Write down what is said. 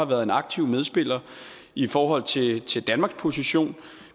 været en aktiv medspiller i i forhold til til danmarks position